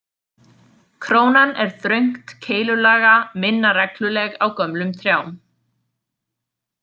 Krónan er þröngt keilulaga, minna regluleg á gömlum trjám.